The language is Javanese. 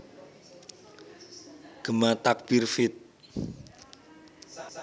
Gema Takbir feat